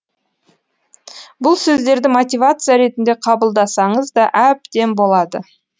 бұл сөздерді мотивация ретінде қабылдасаңыз да әбден болады